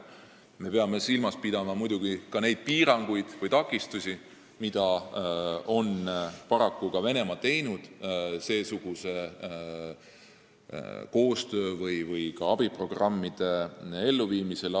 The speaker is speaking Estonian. Me peame muidugi silmas pidama ka neid piiranguid või takistusi, mida paraku Venemaa on teinud seesuguse koostöö või abiprogrammide elluviimisel.